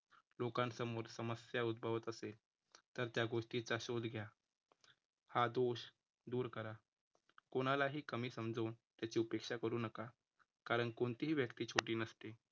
लोकांसमोर समस्या उद्भवत असेल, तर त्या गोष्टीचा शोध घ्या. हा दोष दूर करा. कोणालाही कमी समजून त्याचे उपेक्षा करू नका कारण कोणतीही व्यक्ती छोटी नसते.